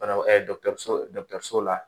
Banabaa dɔgɔtɔrɔso la